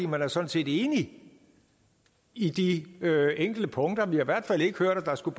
man er sådan set enig i de enkelte punkter vi har i hvert fald ikke hørt at der skulle